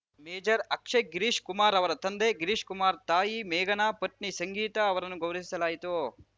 major Akshay Girish Kumar ಅವರ ತಂದೆ ಗಿರೀಶ್‌ ಕುಮಾರ್‌ ತಾಯಿ ಮೇಘನಾ ಪತ್ನಿ ಸಂಗೀತಾ ಅವರನ್ನು ಗೌರವಿಸಲಾಯಿತು